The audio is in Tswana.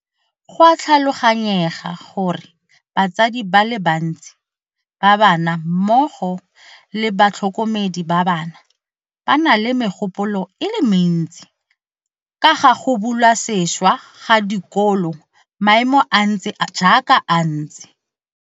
Go a tlhaloganyega gore batsadi ba le bantsi ba bana mmogo le batlhokomedi ba bana ba na le megopolo e le mentsi ka ga go bulwa sešwa ga dikolo maemo a ntse jaaka a ntse.